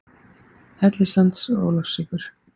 Hellissands og Ólafsvíkur.